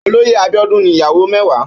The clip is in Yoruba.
Ólóyé Abiodun ni iyàwó mèwá